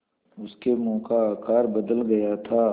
उसके मुँह का आकार बदल गया था